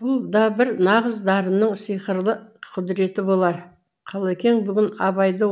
бұл да бір нағыз дарынның сиқырлы құдіреті болар қалекең бүгін абайды